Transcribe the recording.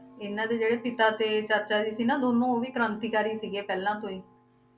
ਇਨ੍ਹਾਂ ਦੇ ਜਿਹੜੇ ਪਿਤਾ ਤੇ ਚਾਚਾ ਜੀ ਸੀ ਨਾ ਦੋਨੋਂ ਉਹ ਵੀ ਕ੍ਰਾਂਤੀਕਾਰੀ ਸੀਗੇ ਪਹਿਲਾਂ ਤੋਂ ਹੀ